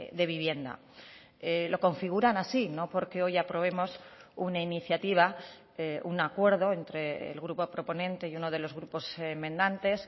de vivienda lo configuran así no porque hoy aprobemos una iniciativa un acuerdo entre el grupo proponente y uno de los grupos enmendantes